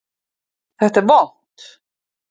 Þetta er vont!